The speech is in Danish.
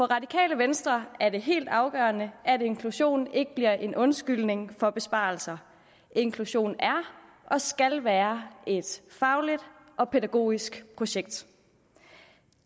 radikale venstre er det helt afgørende at inklusion ikke bliver en undskyldning for besparelser inklusion er og skal være et fagligt og pædagogisk projekt